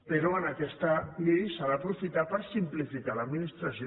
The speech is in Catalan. però aquesta llei s’ha d’aprofitar per simplificar l’administració